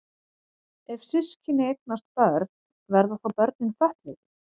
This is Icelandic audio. Ef systkini eignast börn verða þá börnin fötluð?